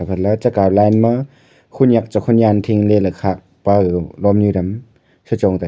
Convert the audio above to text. gale chekau line ma konyak che konyan phing le khak pa lomnyu dam se chong taiga.